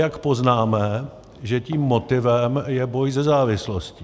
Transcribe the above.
Jak poznáme, že tím motivem je boj se závislostí?